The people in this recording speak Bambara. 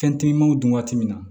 Fɛn timimanw dun waati min na